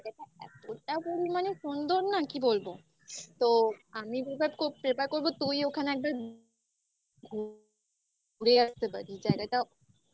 জায়গাটা এতটা পরিমাণে সুন্দর না কি বলবো? তো আমি prefer prefer করবো তুই ওখানে একবার ঘুরে আসতে পারিস। জায়গাটা